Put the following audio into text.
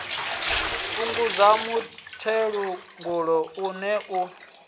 fhungudza muthelogu ṱe u ne